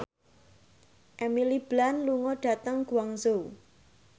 Emily Blunt lunga dhateng Guangzhou